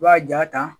I b'a jaa ta